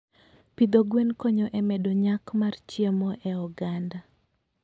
Pidho gwen konyo e medo nyak mar chiemo e oganda.